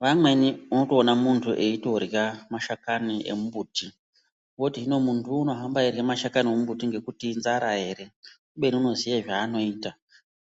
Vamweni unotoona muntu eitorya mashakani embuti woti hino muntuwo unohamba eirye mashakani embuti ngekuti inzara ere. Kubeni unoziye zvaanoita.